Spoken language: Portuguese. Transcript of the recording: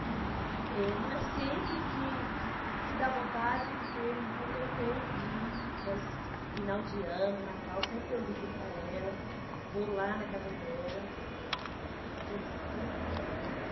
Eh, não é sempre que que que dá vontade porque não tenho tempo de ir. Mas final de ano, natal Sempre eu ligo para ela, vou lá na casa dela. A gente sempre está em contato